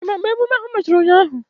Ị ma mgbe emume ahụ mechara ụnyaahụ?